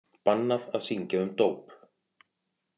Bannað að syngja um dóp